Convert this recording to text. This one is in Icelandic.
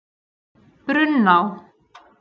Brunná